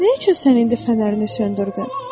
Nə üçün sən indi fənərini söndürdün?